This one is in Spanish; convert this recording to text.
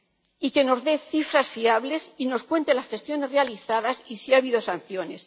y que nos dé cifras fiables y nos cuente las gestiones realizadas, y si ha habido sanciones.